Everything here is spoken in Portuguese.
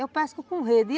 Eu pesco com rede.